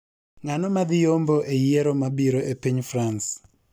Ng'ano madhi yombo eyiero mabiro epiny Frans